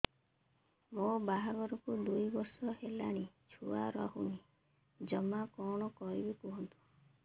ମୋ ବାହାଘରକୁ ଦୁଇ ବର୍ଷ ହେଲାଣି ଛୁଆ ରହୁନି ଜମା କଣ କରିବୁ କୁହନ୍ତୁ